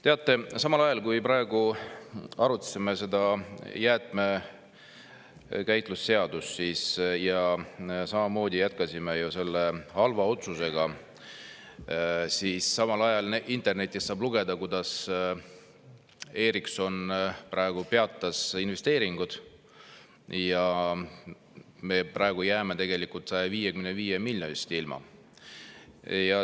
Teate, samal ajal, kui me praegu arutasime seda jäätmekäitlusseadust ja jätkasime selle halva otsusega, saab internetist lugeda, kuidas Ericsson peatas investeeringud ja me jääme tegelikult 155 miljonist ilma.